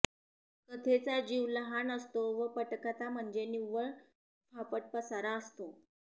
कथेचा जीव लहान असतो व पटकथा म्हणजे निव्वळ फापटपसारा असतो